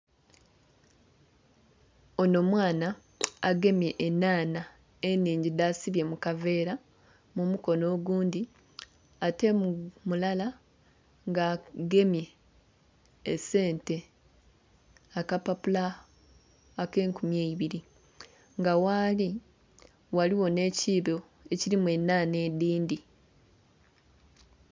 Ono mwana agemye enhanha ennhingi dhasibye mu kaveera mu mukono ogundhi, ate mu mulala ng'agemye esente, akapapula ak'enkumi eibiri. Nga ghali ghaligho nh'ekiibo ekilimu enhanha edhindhi.